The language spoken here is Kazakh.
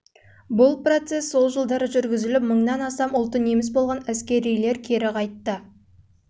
бұл процесс жылдары жүргізіліп мыңнан астам ұлты неміс болған әскерилер кері қайтты